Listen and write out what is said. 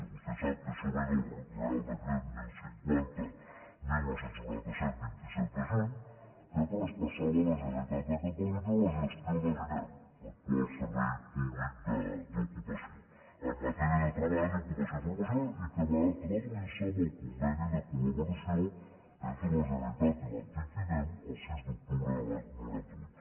vostè sap que això ve del reial decret deu cinquanta dinou noranta set vint set de juny que traspassava a la generalitat de catalunya la gestió de l’inem l’actual servei públic d’ocupació en matèria de treball i ocupació professional i que va traduir se en el conveni de collaboració entre la generalitat i l’antic inem el sis d’octubre de l’any noranta vuit